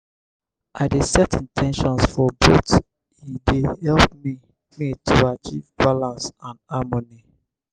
i dey set in ten tions for both e dey help me me to achieve balance and harmony.